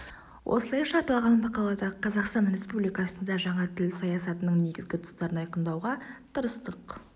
осылайша аталған мақалада қазақстан республикасында жаңа тіл саясатының негізгі тұстарын айқындауға тырыстық